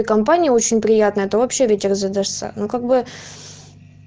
компания очень приятно это вообще ветер ну как бы